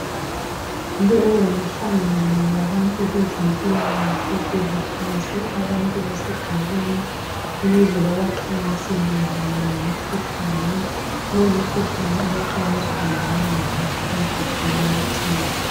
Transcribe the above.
Lowu ngumhlangano wabantu bezempilakahle, bebuthanise abantu besigabeni ukuze bebaxwayise mayelana lemikhuhlane. Lowo mkhuhlane abaxwayiswa ngawo ngowe COVID-19.